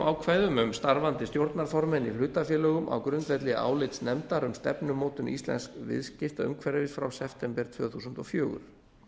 ákvæðum um starfandi stjórnarformenn í hlutafélögum á grundvelli álits nefndar um stefnumótun íslensks viðskiptaumhverfis frá september tvö þúsund og fjögur